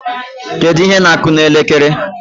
Kedu ihe na-akụ n' elekere?